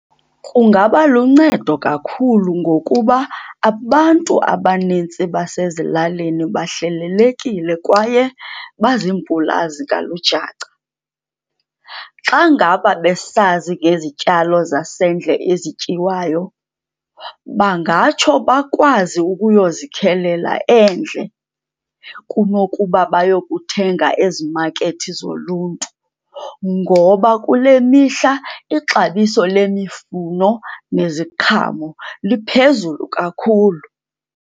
Kungaba luncedo kakhulu ngokuba abantu abanintsi basezilalini bahlelelekile kwaye bazimpulazi kalujaca. Xa ngaba besazi ngezityalo zasendle ezityiwayo bangatsho bakwazi ukuyozikhelela endle kunokuba bayokuthenga ezimakethi zoluntu, ngoba kule mihla ixabiso lemifuno neziqhamo liphezulu kakhulu.